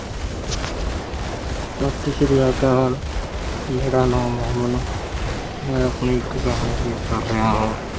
ਸਤਿ ਸ੍ਰੀ ਅਕਾਲ, ਮੇਰਾ ਨਾਮ ਅਮਨ ਹੈ। ਮੈਂ ਆਪਣੀ ਇੱਕ ਕਹਾਣੀ ਪੇਸ਼ ਕਰ ਰਿਹਾਂ ਹਾਂ।